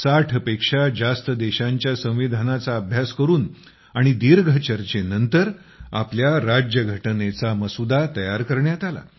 60 पेक्षा जास्त देशांच्या संविधानांचा अभ्यास करून आणि दीर्घ चर्चेनंतर आपल्या राज्यघटनेचा मसुदा तयार करण्यात आला